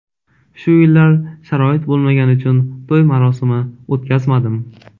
Shu yillar sharoit bo‘lmagani uchun to‘y marosimi o‘tkazmadim.